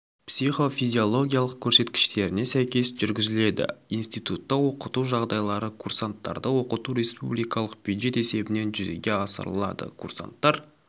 психофизиологиялық көрсеткіштеріне сәйкес жүргізіледі институтта оқыту жағдайлары курсанттарды оқыту республикалық бюджет есебінен жүзеге асырылады курсанттар